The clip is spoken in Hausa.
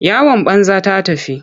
Yawan banza ta tafi.